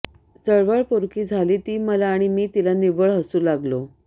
चळवळ पोरकी झाली ती मला आणि मी तिला निव्वळ हसू लागलो